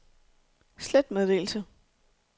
slet meddelelse